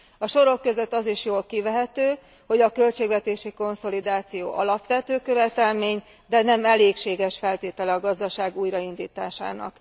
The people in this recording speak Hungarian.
A sorok között az is jól kivehető, hogy a költségvetési konszolidáció alapvető követelmény, de nem elégséges feltétele a gazdaság újraindításának.